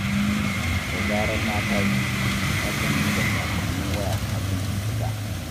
Da zarar na tashi, na kan duba saƙonnin waya kafin in fita.